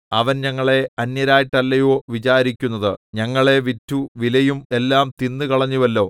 അവൻ ഞങ്ങളെ അന്യരായിട്ടല്ലയോ വിചാരിക്കുന്നത് ഞങ്ങളെ വിറ്റു വിലയും എല്ലാം തിന്നു കളഞ്ഞുവല്ലോ